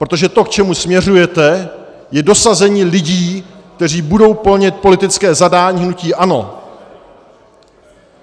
Protože to, k čemu směřujete, je dosazení lidí, kteří budou plnit politické zadání hnutí ANO.